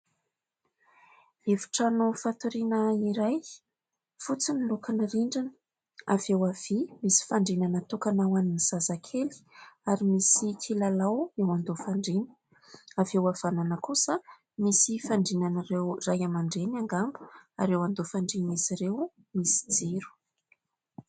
Efitrano fatoriana iray, fotsy ny lokon'ny rindrina. Avy eo havia misy fandriana natokana ho an'ny zazakely, ary misy kilalao eo andoha fandriana. Avy eo havanana kosa misy fandrianan'ireo ray aman-dreny angamba ary eo andoha fandrian'izy ireo misy jiro.